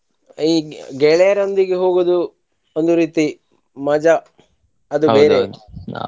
ಈ ಗೆಳೆಯರೊಂದಿಗೆ ಹೋಗುದು ಒಂದು ರೀತಿ ಮಜಾ ಅದು .